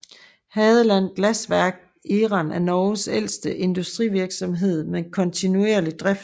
Hadeland Glassverk eren af Norges ældste industrivirksomhed med kontinuerlig drift